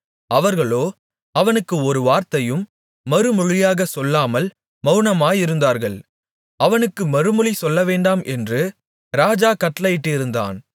அவர்களோ அவனுக்கு ஒரு வார்த்தையையும் மறுமொழியாகச் சொல்லாமல் மவுனமாயிருந்தார்கள் அவனுக்கு மறுமொழி சொல்லவேண்டாம் என்று ராஜா கட்டளையிட்டிருந்தான்